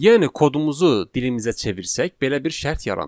Yəni kodumuzu dilimizə çevirsək, belə bir şərt yaranır.